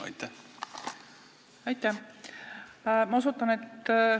Aitäh!